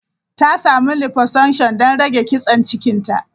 Ta samu liposuction don rage kitsen cikinta.